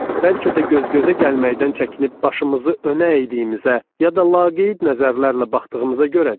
Bəlkə də göz-gözə gəlməkdən çəkinib başımızı önə əydiyimizə, ya da laqeyd nəzərlərlə baxdığımıza görədir?